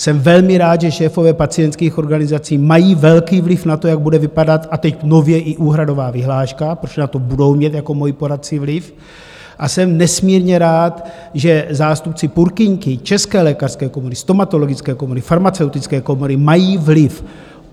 Jsem velmi rád, že šéfové pacientských organizací mají velký vliv na to, jak bude vypadat - a teď nově - i úhradová vyhláška, protože na to budou mít jako moji poradci vliv, a jsem nesmírně rád, že zástupci Purkyňky, České lékařské komory, Stomatologické komory, Farmaceutické komory mají vliv.